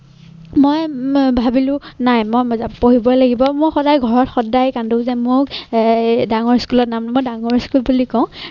মই ভাবিলো নাই মই পঢ়িবই লাগিব মই সদায় ঘৰত সদায় কাণ্ডু যে মোক অঃ ডাঙৰ school ত নাম মই ডাঙৰ school বুলি কওঁ।